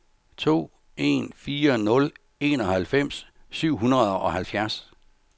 to en fire nul enoghalvfems syv hundrede og halvfjerds